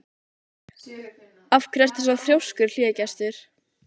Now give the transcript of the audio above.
Af hverju ertu svona þrjóskur, Hlégestur?